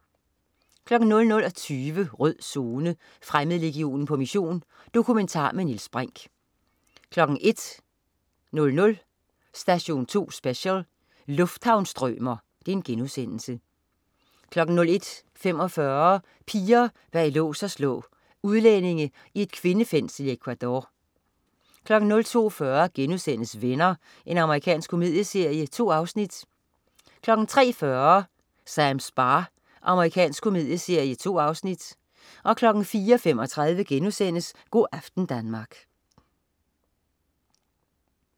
00.20 Rød Zone: Fremmedlegionen på mission. Dokumentar med Niels Brinch 01.00 Station 2 Special: Lufthavnsstrømer* 01.45 Piger bag lås og slå. Udlændinge i et kvindefængsel i Ecuador 02.40 Venner.* Amerikansk komedieserie. 2 afsnit 03.40 Sams bar. Amerikansk komedieserie. 2 afsnit 04.35 Go' aften Danmark*